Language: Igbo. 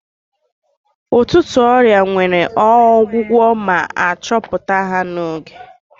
Ụtụtụ ọrịa nwere ọgwụgwụ ma achọpụta ha n'oge.